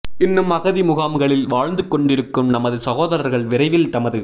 இன்னும் அகதி முகாம்களில் வாழ்ந்து கொண்டிருக்கும் நமது சகோதரர்கள் விரைவில் தமது